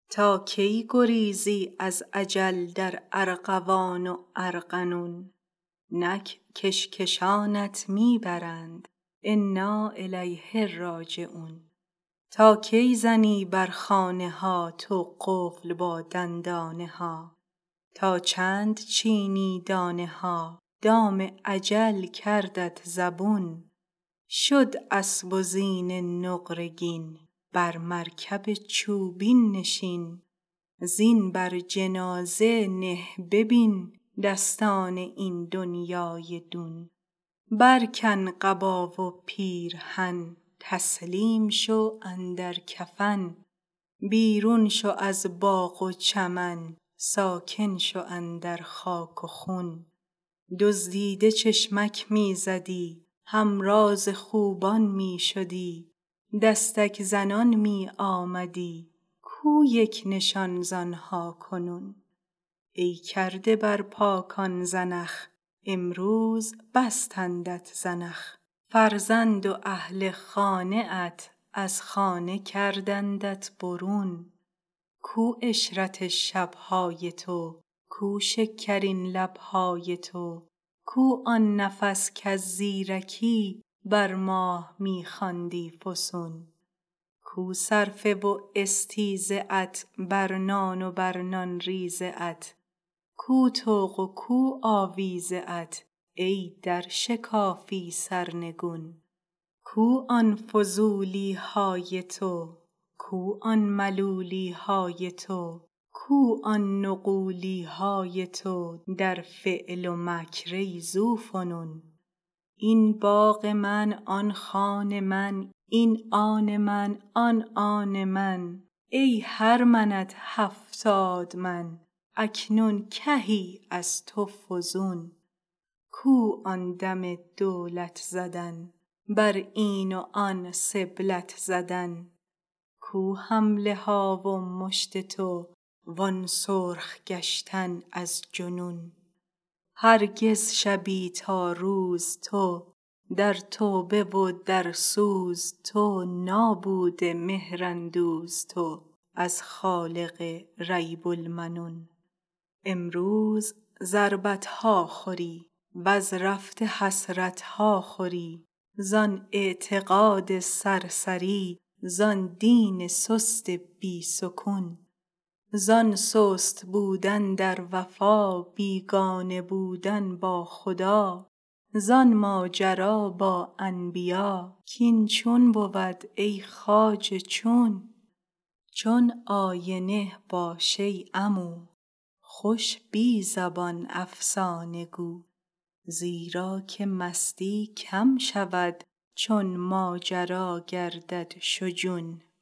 تا کی گریزی از اجل در ارغوان و ارغنون نک کش کشانت می برند انا الیه راجعون تا کی زنی بر خانه ها تو قفل با دندانه ها تا چند چینی دانه ها دام اجل کردت زبون شد اسب و زین نقره گین بر مرکب چوبین نشین زین بر جنازه نه ببین دستان این دنیای دون برکن قبا و پیرهن تسلیم شو اندر کفن بیرون شو از باغ و چمن ساکن شو اندر خاک و خون دزدیده چشمک می زدی همراز خوبان می شدی دستک زنان می آمدی کو یک نشان ز آن ها کنون ای کرده بر پاکان زنخ امروز بستندت زنخ فرزند و اهل و خانه ات از خانه کردندت برون کو عشرت شب های تو کو شکرین لب های تو کو آن نفس کز زیرکی بر ماه می خواندی فسون کو صرفه و استیزه ات بر نان و بر نان ریزه ات کو طوق و کو آویزه ات ای در شکافی سرنگون کو آن فضولی های تو کو آن ملولی های تو کو آن نغولی های تو در فعل و مکر ای ذوفنون این باغ من آن خان من این آن من آن آن من ای هر منت هفتاد من اکنون کهی از تو فزون کو آن دم دولت زدن بر این و آن سبلت زدن کو حمله ها و مشت تو وان سرخ گشتن از جنون هرگز شبی تا روز تو در توبه و در سوز تو نابوده مهراندوز تو از خالق ریب المنون امروز ضربت ها خوری وز رفته حسرت ها خوری زان اعتقاد سرسری زان دین سست بی سکون زان سست بودن در وفا بیگانه بودن با خدا زان ماجرا با انبیا کاین چون بود ای خواجه چون چون آینه باش ای عمو خوش بی زبان افسانه گو زیرا که مستی کم شود چون ماجرا گردد شجون